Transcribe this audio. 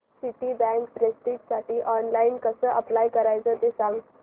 Citibank प्रेस्टिजसाठी online कसं apply करायचं ते सांग